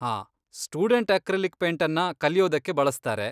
ಹಾಂ, student acrylic ಪೇಂಟನ್ನ ಕಲಿಯೋದಕ್ಕೆ ಬಳಸ್ತಾರೆ.